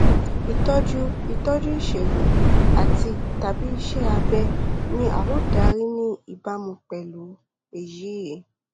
ìtọjú ìtọjú ìṣègùn àtitàbí iṣẹ abẹ ni a ó darí ní ìbámu pẹlú èyí